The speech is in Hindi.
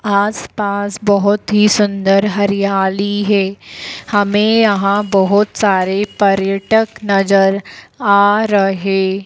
आस-पास बहुत ही सुंदर हरियाली है हमें यहाँ बहुत सारे पर्यटक नज़र आ रहे --